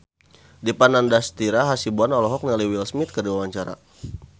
Dipa Nandastyra Hasibuan olohok ningali Will Smith keur diwawancara